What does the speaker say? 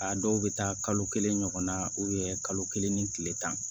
A dɔw bɛ taa kalo kelen ɲɔgɔnna kalo kelen ni tile tan